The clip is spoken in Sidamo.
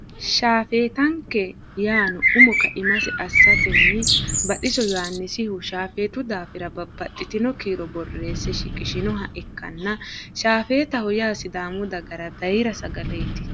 shaafetanke yaano umo kaima assatenni Baxiso Yohannisihu shaafetu daafira babaxitino kiiro borreesse shiqishinoha ikanna shaafetaho yaa sidaamu daggara bayira sagaleeti.